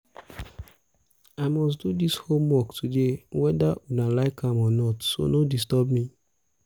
i must do dis homework today whether una like am or not so no disturb me